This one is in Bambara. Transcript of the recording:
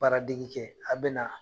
Baara degi kɛ, a be na